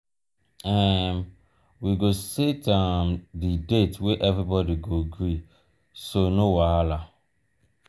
um we go set um di date wey everybody go gree so no wahala. um um